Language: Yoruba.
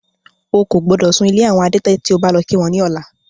Ó kò gbọ́dọ̀ sún ilé àwọn adẹ́tẹ̀ tí o bá lọ kí wọ́n ní ọ̀la.